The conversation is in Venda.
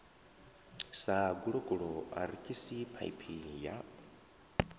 sa gulokulo arikisi phaiphi ya